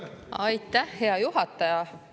Aitäh, hea juhataja!